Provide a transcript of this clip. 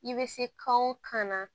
I bɛ se kan o kan na